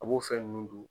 A b'o fɛn nunnu dun